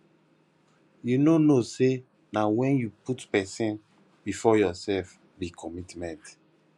you no know sey na wen you put pesin before yoursef be commitment